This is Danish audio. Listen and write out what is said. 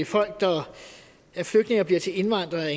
folk der er flygtninge og bliver til indvandrere